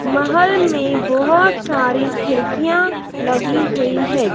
महल में बहोत सारी खिड़कियां लगी हुई है।